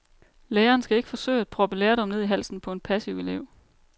Læreren skal ikke forsøge at proppe lærdom ned i halsen på en passiv elev.